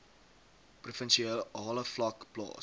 provinsiale vlak plaas